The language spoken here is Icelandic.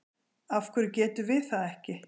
Af hverju getum við það ekki?